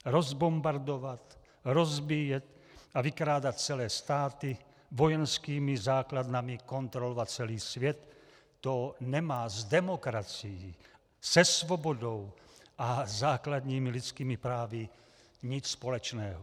Rozbombardovat, rozbíjet a vykrádat celé státy, vojenskými základnami kontrolovat celý svět - to nemá s demokracií, se svobodou a základními lidskými právy nic společného.